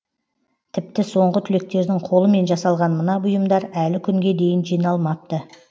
тіпті соңғы түлектердің қолымен жасалған мына бұйымдар әлі күнге дейін жиналмапты